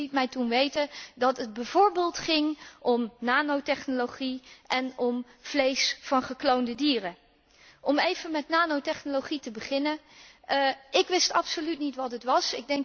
De Commissie liet mij toen weten dat het bijvoorbeeld ging om nanotechnologie en om vlees van gekloonde dieren. Om even met nanotechnologie te beginnen ik wist absoluut niet wat het was.